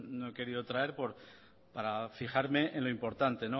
no he querido traer para fijarme en lo importante